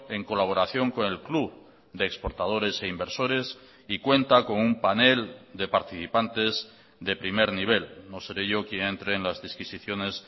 en colaboración con el club de exportadores e inversores y cuenta con un panel de participantes de primer nivel no seré yo quien entre en las disquisiciones